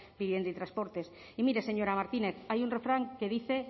vivienda y transportes y mire señora martínez hay un refrán que dice